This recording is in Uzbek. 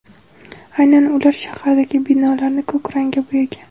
Aynan ular shahardagi binolarni ko‘k rangga bo‘yagan.